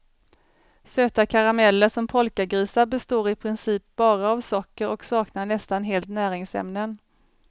Söta karameller som polkagrisar består i princip bara av socker och saknar nästan helt näringsämnen.